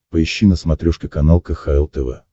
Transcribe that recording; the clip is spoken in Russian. поищи на смотрешке канал кхл тв